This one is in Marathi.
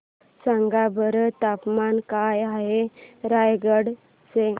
सांगा बरं तापमान काय आहे रायगडा चे